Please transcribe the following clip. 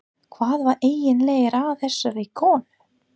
Hvað var eiginlega að þessari konu?